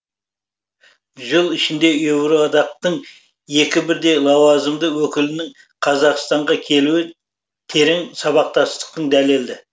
жыл ішінде еуроодақтың екі бірдей лауазымды өкілінің қазақстанға келуі терең сабақтастықтың дәлелі